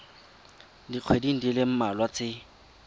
dikgweding di le mmalwa tse